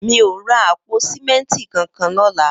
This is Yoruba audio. Mi ó rà àpó sìmẹntí kánkán lọ̀lá